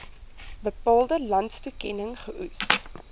bepaalde landstoekenning geoes